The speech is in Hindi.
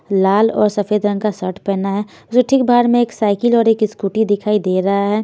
लाल और सफेद रंग का शर्ट पहना है उसे ठीक बाहर में एक साइकिल और एक स्कूटी दिखाई दे रहा है।